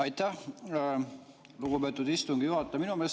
Aitäh, lugupeetud istungi juhataja!